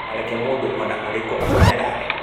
Ndũkareke mũndũ o na ũrĩmi akũnyarare.